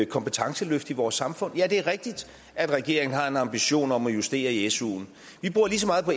kompetenceløft i vores samfund ja det er rigtigt at regeringen har en ambition om at justere i suen vi bruger lige så meget på